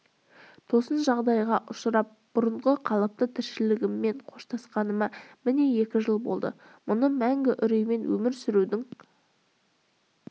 тосын жағдайға ұшырап бұрынғы қалыпты тіршілігіммен қоштасқаныма міне екі жыл болды мұны мәңгі үреймен өмір сүрудің